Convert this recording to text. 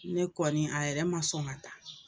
Ne kɔni a yɛrɛ ma sɔn ŋa taa